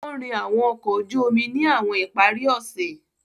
O nrin awọn ọkọ oju omi ni awọn ipari ose.